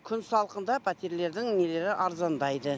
күн салқында пәтерлердің нелері арзандайды